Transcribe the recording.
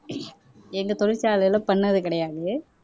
எங்க தொழிற்சாலையில பண்ணது கிடையாது